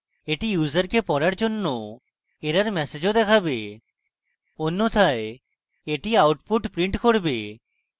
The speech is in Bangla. এটি ইউসারকে পড়ার জন্য error ম্যাসেজও দেখাবে অন্যথায় এটি output print করবে